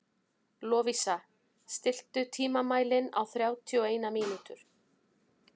Lovísa, stilltu tímamælinn á þrjátíu og eina mínútur.